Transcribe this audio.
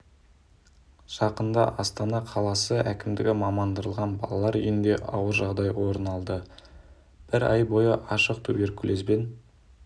жақында астана қаласы әкімдігі мамандандырылған балалар үйінде ауыр жағдай орын алды бір ай бойы ашық туберкулезбен